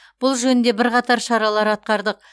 бұл жөнінде бірқатар шаралар атқардық